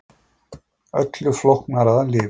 Öllu flóknara að lifa.